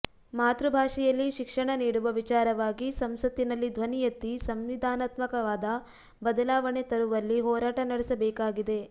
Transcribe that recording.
ಮಾತೃಭಾಷೆಯಲ್ಲಿ ಶಿಕ್ಷಣ ನೀಡುವ ವಿಚಾರವಾಗಿ ಸಂಸತ್ತಿನಲ್ಲಿ ಧ್ವನಿ ಎತ್ತಿ ಸಂವಿಧಾನಾತ್ಮಕವಾದ ಬದಲಾವಣೆ ತರುವಲ್ಲಿ ಹೋರಾಟ ನಡೆಸಬೇಕಾಗಿದೆ